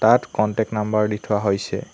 তাত contact number দি থোৱা হৈছে।